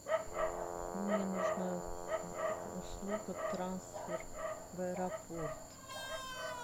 мне нужно услуга трансфер в аэропорт